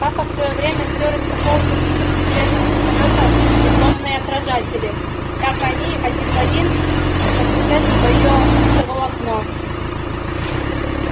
папа в своё время спёр из какого-то супер-секретного самолёта дипольные отражатели так они один в один как вот это твоё оптоволокно